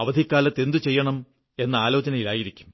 അവധിക്കാലത്ത് എന്തു ചെയ്യണം എന്ന ആലോചനയിലായിരിക്കും